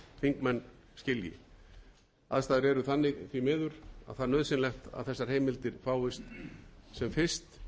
þingmenn skilji aðstæður er þannig því miður að það er nauðsynlegt að þessar heimildir fáist sem fyrst hvenær svo sem kann að þurfa að